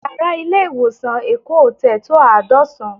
Yàrá ilé ìwòsàn Èkó Hotel tó àádọ́sán